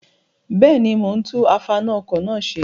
Bẹ́ẹ̀ni, mo ń tún afaná-ọkọ̀ náà ṣe.